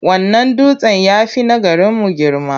Wannan dutsen ya fi na garimu girma.